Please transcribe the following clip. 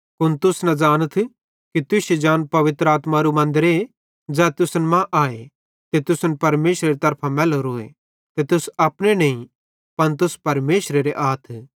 कुन तुस न ज़ानथ कि तुश्शी जान पवित्र आत्मारू मन्दरे ज़ै तुसन मां आए ते तुसन परमेशरेरी तरफां मैलोरोए ते तुस अपने नईं पन तुस परमेशरेरे आथ